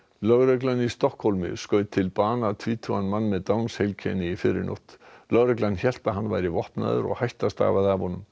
lögreglan í Stokkhólmi skaut til bana mann með Downs heilkenni í fyrrinótt lögregla hélt að hann væri vopnaður og hætta stafaði af honum